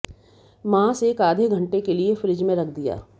मास एक आधे घंटे के लिए फ्रिज में रख दिया